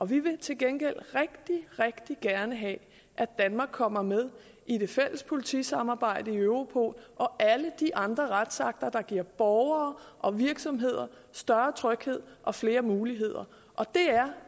vil til gengæld rigtig rigtig gerne have at danmark kommer med i det fælles politisamarbejde i europol og alle de andre retsakter der giver borgere og virksomheder større tryghed og flere muligheder og